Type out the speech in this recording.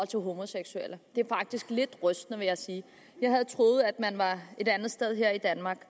til homoseksuelle det er faktisk lidt rystende vil jeg sige jeg havde troet at man var et andet sted her i danmark